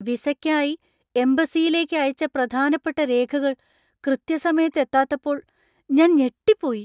വിസയ്ക്കായി എംബസിയിലേക്ക് അയച്ച പ്രധാനപ്പെട്ട രേഖകൾ കൃത്യസമയത്ത് എത്താത്തപ്പോൾ ഞാൻ ഞെട്ടിപ്പോയി.